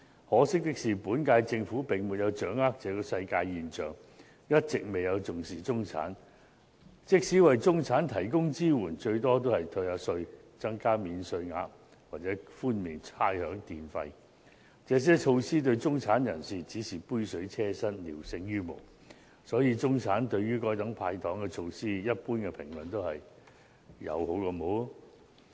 可惜，本屆政府並沒有掌握這個世界現象，一直未有重視中產，即使為中產提供支援，最多只是退稅、增加免稅額或寬免差餉、電費等。這些措施對中產人士只是杯水車薪，聊勝於無。所以，中產對於該等"派糖"措施，一般的評論都是"有好過無"。